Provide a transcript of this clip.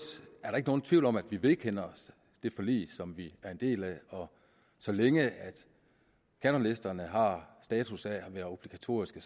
er der ikke nogen tvivl om at vi vedkender os det forlig som vi er en del af og så længe kanonlisterne har status af at være obligatoriske